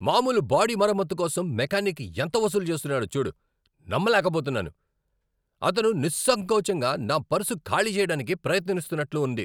మామూలు బాడీ మరమ్మతు కోసం మెకానిక్ ఎంత వసూలు చేస్తున్నాడో చూడు, నమ్మలేకపోతున్నాను! అతను నిస్సంకోచంగా నా పర్సు ఖాళీ చేయడానికి ప్రయత్నిస్తున్నట్లు ఉంది!